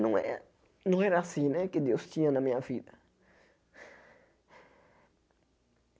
Não é não era assim né que Deus tinha na minha vida.